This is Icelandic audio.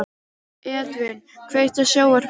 Edvin, kveiktu á sjónvarpinu.